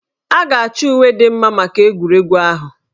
Ọ ga-achọ uwe dị mma maka egwuregwu ahụ